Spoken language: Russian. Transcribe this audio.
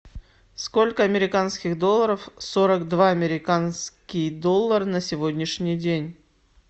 сколько американских долларов сорок два американский доллар на сегодняшний день